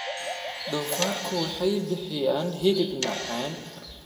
Doofaarku waxay bixiyaan hilib macaan.